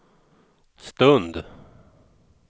stund